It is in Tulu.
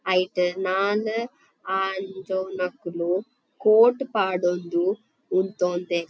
ಐಟ್ ನಾಲ್ ಆಂಜೊವುನಕುಲು ಕೋಟ್ ಪಾಡೊಂದು ಉಂತೊಂದೆರ್.